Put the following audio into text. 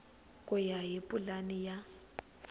ku ya hi pulani ya